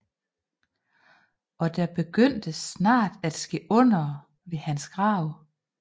Og der begyndte snart at ske undere ved hans grav